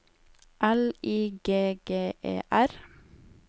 L I G G E R